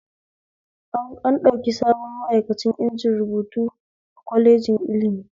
An ɗauki sabon ma'aikani inji rubutu a kwaleji ilimi